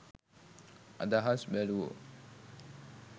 අදහස් බැලූවෝ